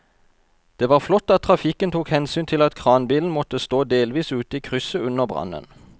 Det var flott at trafikken tok hensyn til at kranbilen måtte stå delvis ute i krysset under brannen.